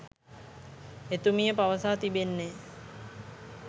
එතුමිය පවසා තිබෙන්නේ